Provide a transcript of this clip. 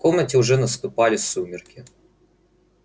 в комнате уже наступали сумерки